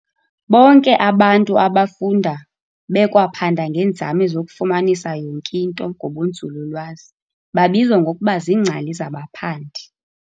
Bonke abantu abafunda bekwaphanda ngeenzame zokufumanisa yonke into ngobunzululwazi babizwa ngokuba ziingcali zabaphandi.